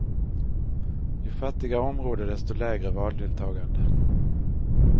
Ju fattigare område desto lägre valdeltagande.